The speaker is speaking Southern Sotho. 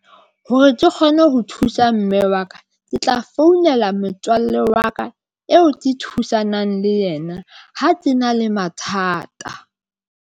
Hore ke kgone ho thusa mme wa ka, ke tla founela motswalle wa ka eo ke thusanang le yena. Ha ke na le mathata.